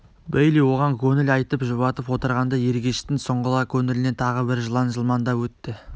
бейли оған көңіл айтып жұбатып отырғанда ергештің сұңғыла көңілінен тағы бір жылан жылмаңдап өтті